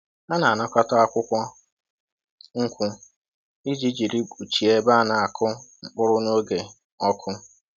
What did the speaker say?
Ha na-anakọta akwukwo nkwu iji jiri kpuchie ebe a na-akụ mkpụrụ n’oge ọkụ